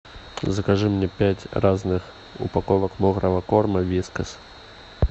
закажи мне пять разных упаковок мокрого корма вискас